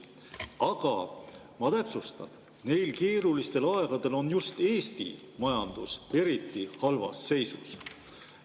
Aga ma täpsustan: sel keerulisel ajal on just Eesti majandus eriti halvas seisus.